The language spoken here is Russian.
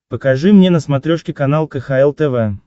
покажи мне на смотрешке канал кхл тв